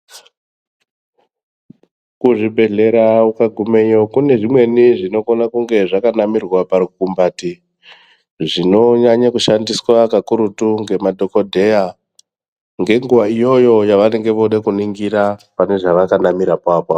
Kuzvibhedhlera ukagumeyo kune zvimweni zvinokone kunge zvakanamirwwe parukumbati, zvinonyanye kushandiswa kakurutu ngemadhokodheya ngenguwa iyoyo yavanenge vode kuningira pane zvavakanamirapo apapo.